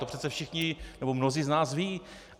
To přece všichni, nebo mnozí z nás vědí.